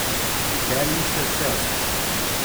Pripelji še sestro.